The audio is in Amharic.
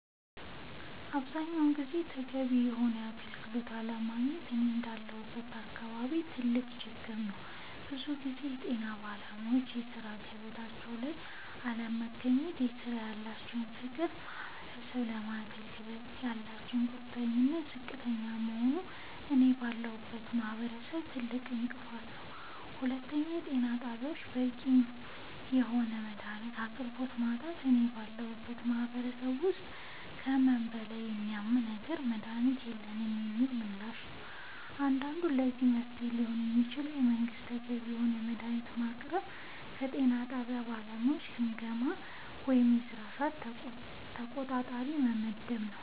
አብዛኛውን ጊዜ ተገቢውን የሆነ አገልግሎት አለማግኘት እኔ እንዳለሁበት አካባቢ ትልቅ ችግር ነዉ ብዙ ጊዜ የጤና ባለሙያወች በሥራ ገበታቸው ላይ አለመገኘት ለስራው ያላቸው ፍቅርና ማህበረሰቡን ለማገልገል ያላቸው ቁርጠኝነት ዝቅተኛ መሆኑ እኔ ባለሁበት ማህበረሰብ ትልቁ እንቅፋት ነዉ ሁለተኛው የጤና ጣቢያወች በቂ የሆነ የመድሃኒት አቅርቦት ማጣት እኔ ባለሁበት ማህበረሰብ ውስጥ ከህመሙ በላይ የሚያመው ነገር መድሃኒት የለንም የሚለው ምላሽ አንዱ ነዉ ለዚህ መፍትሄ ሊሆን የሚችለው መንግስት ተገቢውን የሆነ መድሃኒት ማቅረብና የጤና ጣቢያ ባለሙያወችን ግምገማ ወይም የስራ ሰዓት ተቆጣጣሪ መመደብ